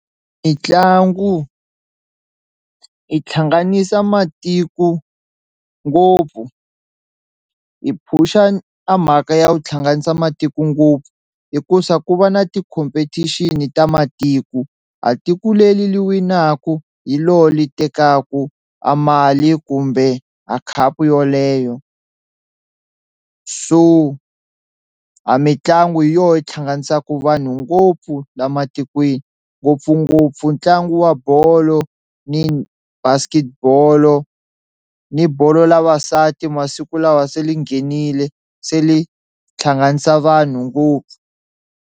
Mitlangu yi tlhanganisa matiko ngopfu hi phusha a mhaka ya ku hlanganisa matiko ngopfu hikuza ku va na ti-competition ta matiko a tiko leli li winaku hi loho le tekaku a mali kumbe a khapu yoleyo, so a mitlangu hi yoho yi tlhanganisaka vanhu ngopfu la matikweni ngopfungopfu ntlangu wa bolo ni basket bolo ni bolo la vasati masiku lawa se yi nghenile se li tlhanganisa vanhu ngopfu.